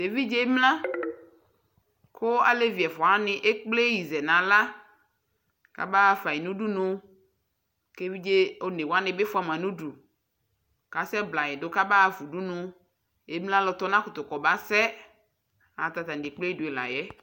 evidƶe emlan ku alevi ɛfua wa ni ekple ɣi zɛ na aɣla ka ba fa ɣi nu uɖunu ku evidƶe oneŋ wani bi fua ma nu udu ka sɛ blayi du ka ba ƒa udunu emlan ku ɔnakutu sɛ ayɛlutɛ ata nie klpe ɖü la yɛ